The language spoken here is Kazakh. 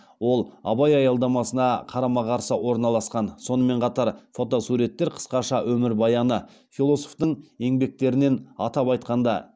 ол абай аялдамасына қарама қарсы орналасқан сонымен қатар фотосуреттер қысқаша өмірбаяны философтың еңбектерінен атап айтқанда